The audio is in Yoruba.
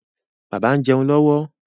Bàbá ń jẹun lọ́wọ́.